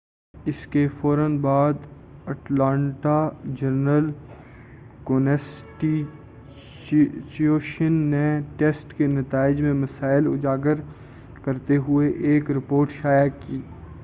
اس کے فورا بعد اٹلانٹا جرنل-کونسٹیچیوشن نے ٹیسٹ کے نتائج میں مسائل اجاگر کرتے ہوئے ایک رپورٹ شائع کی